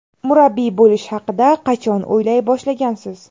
Murabbiy bo‘lish haqida qachon o‘ylay boshlagansiz?